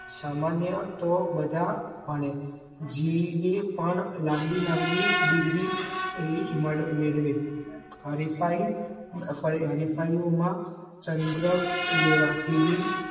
સામાન્ય તો બધા ભણે જીવે પણ લાંબી લાંબી ડિગ્રી મેળવે હરીફાઈઓમાં ચંદ્ર લેવા TV